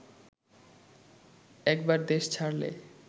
একবার দেশ ছাড়লে